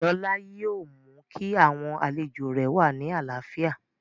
Lọlá yóò mú kí àwọn àlejò rẹ̀ wà ní àlàáfíà